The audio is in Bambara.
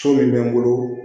So min bɛ n bolo